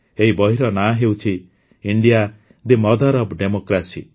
ଏହି ବହିର ନାଁ ହେଉଛି ଇଣ୍ଡିଆଦି ମଦର୍ ଅଫ୍ ଡେମୋକ୍ରେସି